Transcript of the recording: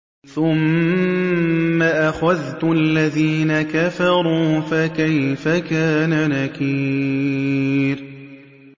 ثُمَّ أَخَذْتُ الَّذِينَ كَفَرُوا ۖ فَكَيْفَ كَانَ نَكِيرِ